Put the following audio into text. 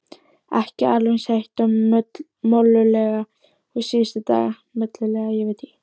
Ekki alveg eins heitt og mollulegt og síðustu daga.